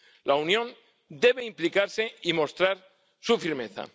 La Unión debe implicarse y mostrar su firmeza.